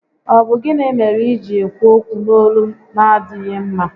Ọ bụ gịnị mere iji ekwu okwu n'olu na adịghị mma?